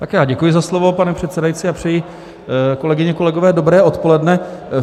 Tak já děkuji za slovo, pane předsedající, a přeji, kolegyně, kolegové, dobré odpoledne.